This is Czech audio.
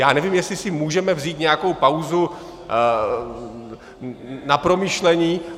Já nevím, jestli si můžeme vzít nějakou pauzu na promyšlení.